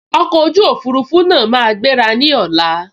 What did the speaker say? Ọkọ̀ ojú òfurufú náà máa gbéra ní ọ̀la